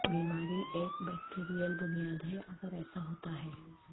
بیماری ایک بیکٹیریل بنیاد ہے اگر ایسا ہوتا ہے